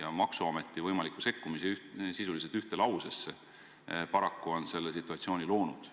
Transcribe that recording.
ja maksuameti võimaliku sekkumise – sisuliselt ühte lausesse, olete paraku sellise situatsiooni loonud.